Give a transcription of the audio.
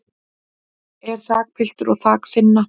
en þakpiltur og þak þynna